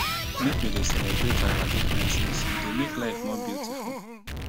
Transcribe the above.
make we dey celebrate our differences e dey make life more beautiful.